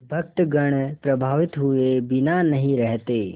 भक्तगण प्रभावित हुए बिना नहीं रहते